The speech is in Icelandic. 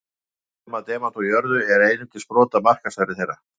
Kostnaður við að nema demanta úr jörðu er einungis brot af markaðsverði þeirra.